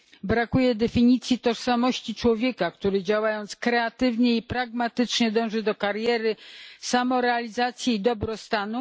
Brakuje definicji tożsamości człowieka, który, działając kreatywnie i pragmatycznie, dąży do kariery, samorealizacji i dobrostanu.